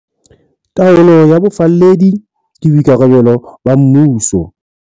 Taolo ya bofalledi ke boikarabelo ba mmuso.